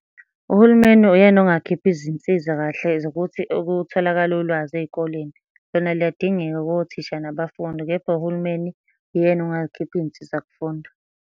Uhulumeni uyena ongakhipha izinsiza kahle zokuthi ukutholakale ulwazi ey'koleni. Lona liyadingeka kothisha nabafundi kepha uhulumeni uyena ongakhipha iy'nsiza kufunda.